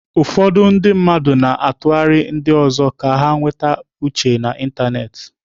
Ụfọdụ ndị mmadụ na-atụgharị ndị ọzọ ka ha nweta uche n'ịntanetị.